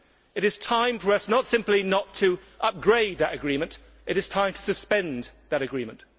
It is time for us not simply not to upgrade that agreement, but to suspend that agreement.